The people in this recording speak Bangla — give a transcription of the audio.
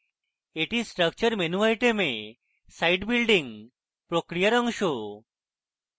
এটি structure menu item site building প্রক্রিয়ার অংশ